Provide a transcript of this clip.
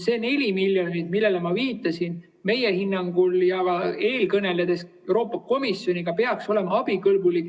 See 4 miljonit, millele ma viitasin – meie hinnangul ja ka eelkõneluste ajal Euroopa Komisjoniga on see selgunud –, peaks olema abikõlblik.